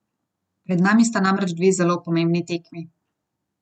Pred nami sta namreč dve zelo pomembni tekmi.